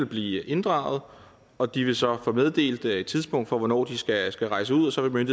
blive inddraget og de vil så få meddelt et tidspunkt for hvornår de skal skal rejse ud og så vil